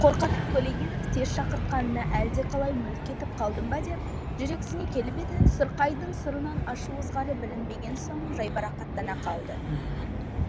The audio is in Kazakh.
қорқатын көлегенов тез шақыртқанына әлдеқалай мүлт кетіп қалдым ба деп жүрексіне келіп еді сұрқайдың сұрынан ашу ызғары білінбеген соң жайбарақаттана қалды